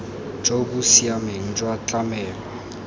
jo bo siameng jwa tlamelo